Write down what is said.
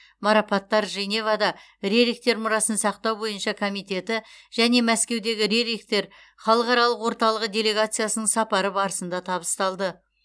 марапаттар женевада рерихтер мұрасын сақтау бойынша комитеті және мәскеудегі рерихтер халықаралық орталығы делегациясының сапары барысында табысталды